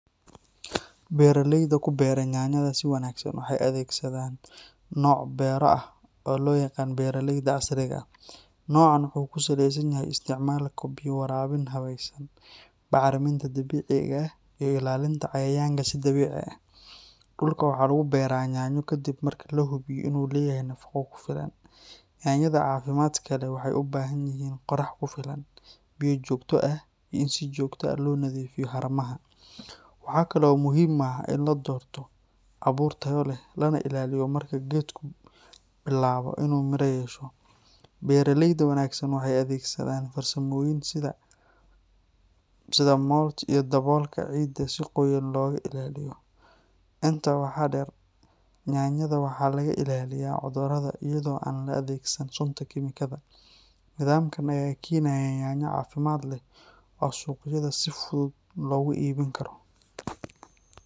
Beeraleyda ku beera yaanyada si wanaagsan waxay adeegsadaan nooc beero ah oo loo yaqaan beeraleyda casriga ah. Noocaan wuxuu ku saleysan yahay isticmaalka biyo waraabin habaysan, bacriminta dabiiciga ah, iyo ilaalinta cayayaanka si dabiici ah. Dhulka waxaa lagu beeraa yaanyo kaddib marka la hubiyo in uu leeyahay nafaqo ku filan. Yaanyada caafimaadka leh waxay u baahan yihiin qorax ku filan, biyo joogto ah, iyo in si joogto ah loo nadiifiyo haramaha. Waxaa kale oo muhiim ah in la doorto abuur tayo leh, lana ilaaliyo marka geedku bilaabo inuu miro yeesho. Beeraleyda wanaagsan waxay adeegsadaan farsamooyin sida mulch iyo daboolka ciidda si qoyaan looga ilaaliyo. Intaa waxaa dheer, yaanyada waxaa laga ilaaliyaa cudurrada iyada oo aan la adeegsan sunta kiimikada. Nidaamkan ayaa keenaya yaanyo caafimaad leh oo suuqyada si fudud loogu iibin karo.